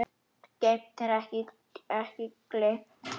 Geymt er ekki gleymt